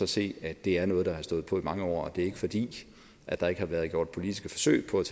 se at det er noget der har stået på i mange år og at det ikke er fordi der ikke har været gjort politiske forsøg på at